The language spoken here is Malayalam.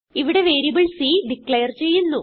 ഇവിടെ വേരിയബിൾ സി ഡിക്ലേർ ചെയ്യുന്നു